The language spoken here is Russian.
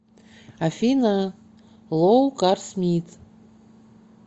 афина лоу карс мит